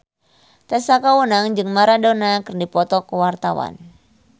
Tessa Kaunang jeung Maradona keur dipoto ku wartawan